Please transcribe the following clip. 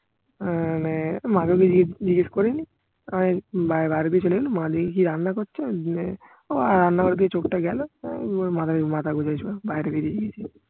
আহ মানে মাদু কে জিজ্ঞেস করিনি আমি বাইরে বাইরে দিয়ে চলে গেলাম মা দেখি কি রান্না করছে আর মানে রান্না ঘরের দিকে চোখটা গেলো আমি মাথা গুঁজে ছিল বাইরে বেরিয়ে গেছি